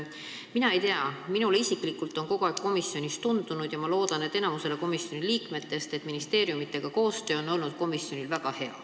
Ma ei tea, aga minule isiklikult – ja ma loodan, et enamikule komisjoni liikmetest – on kogu aeg tundunud, et koostöö ministeeriumidega on komisjonil olnud väga hea.